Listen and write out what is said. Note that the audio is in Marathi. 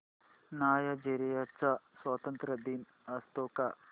नायजेरिया चा स्वातंत्र्य दिन असतो का